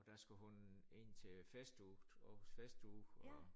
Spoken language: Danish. Og der skulle hun ind til festuge Århus festuge og